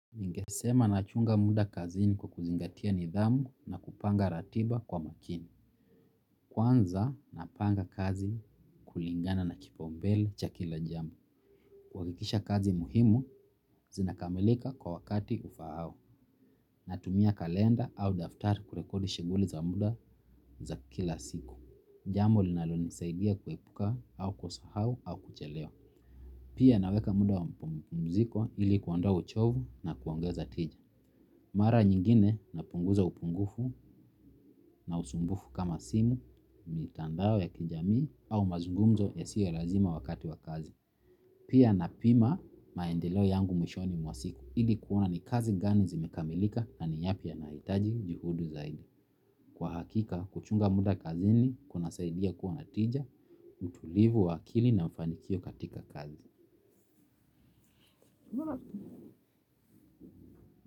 Ningesema nachunga muda kazini kwa kuzingatia nidhamu na kupanga ratiba kwa makini. Kwanza napanga kazi kulingana na kipaumbele cha kila jambo. Kuhakikisha kazi muhimu, zinakamilika kwa wakati ufaao. Natumia kalenda au daftari kurekodi shighuli za muda za kila siku. Jambo linalonisaidia kuepuka au kusahau au kuchelewa. Pia naweka muda wa mapumziko ili kuondoa uchovu na kuongeza tija. Mara nyingine napunguza upungufu na usumbufu kama simu mitandao ya kijamii au mazugumzo ya siyo lazima wakati wa kazi. Pia napima maendeleo yangu mwishoni mwa siku ili kuona ni kazi gani zimekamilika na yapi yanahitaji juhudi zaidi. Kwa hakika kuchunga muda kazini kunasaidia kuwa na tija, utulivu wa akili na mafanikio katika kazi.